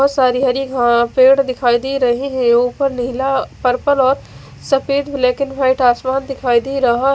बहत सारी हरी पेड़ दिखाई दे रहे है ऊपर नीला पर्पल और सफ़ेद ब्लैकेन वाइट आसमान दिखाई दे रहा --